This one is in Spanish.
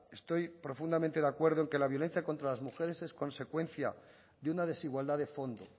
estoy profundamente en que la violencia contra las mujeres es consecuencia de una desigualdad de fondo